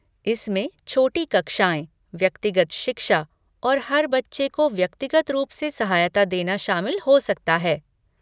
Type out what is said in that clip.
इसमें छोटी कक्षाएँ, व्यक्तिगत शिक्षा और हर बच्चे को व्यक्तिगत रूप से सहायता देना शामिल हो सकता है।